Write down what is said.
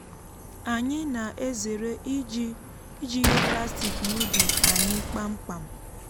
anyị na-ezere iji iji ihe plastik n'ubi anyị kpamkpam.